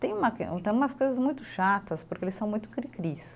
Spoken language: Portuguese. Tem uma que, tem umas coisas muito chatas, porque eles são muito cri-cris.